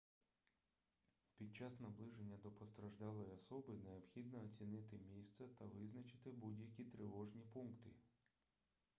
під час наближення до постраждалої особи необхідно оцінити місце та визначити будь-які тривожні пункти